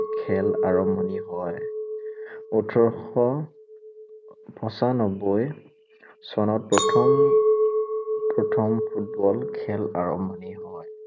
খেল আৰম্ভণি হয়। ওঠৰশ পঞ্চানব্বৈ চনত প্ৰথম প্ৰথম ফুটবল খেল আৰম্ভণি হয়।